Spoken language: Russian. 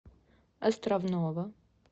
островного